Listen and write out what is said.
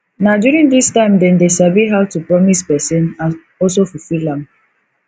na during this time dem de sabi how to promise persin and also fulfill am